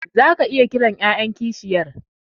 Zaka iya kiran yayan kishiyar